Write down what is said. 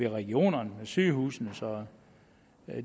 regionerne med sygehusene så